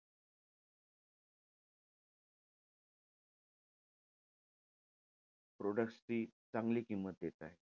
Products ची चांगली किंमत देताय.